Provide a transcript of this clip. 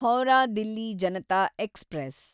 Howrah Delhi Janata express